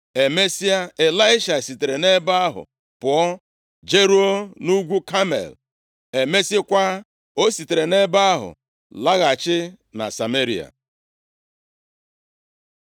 Emesịa, Ịlaisha sitere nʼebe ahụ pụọ jeruo nʼugwu Kamel. Emesịakwa, o sitere nʼebe ahụ laghachi na Sameria. + 2:25 Ọ bụ nʼobodo Sameria ka Ịlaisha biri.